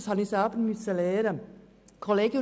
Das musste ich selber lernen.